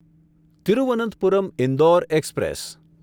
Thiruvananthapuram Indore express